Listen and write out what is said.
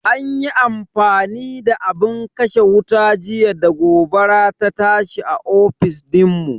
An yi amfani da abin kashe wuta jiya da gobara ta tashi a ofis dinmu.